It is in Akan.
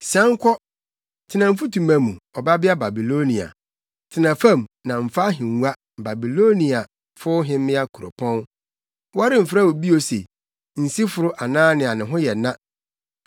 “Sian kɔ, tena mfutuma mu, Ɔbabea Babilonia; tena fam na mfa ahengua, Babiloniafo hemmea kuropɔn. Wɔremfrɛ wo bio se, nsiforo anaa nea ne ho yɛ na.